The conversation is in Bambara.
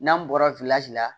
N'an bɔra la